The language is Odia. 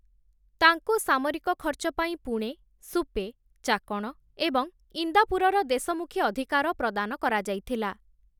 ତାଙ୍କୁ ସାମରିକ ଖର୍ଚ୍ଚ ପାଇଁ ପୁଣେ, ସୁପେ, ଚାକଣ ଏବଂ ଇନ୍ଦାପୁରର ଦେଶମୁଖୀ ଅଧିକାର ପ୍ରଦାନ କରାଯାଇଥିଲା ।